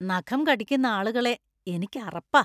നഖം കടിക്കുന്ന ആളുകളെ എനിക്ക് അറപ്പാ.